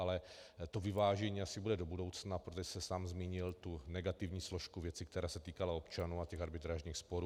Ale to vyvážení asi bude do budoucna, protože jste sám zmínil tu negativní složku věci, která se týkala občanů a těch arbitrážních sporů.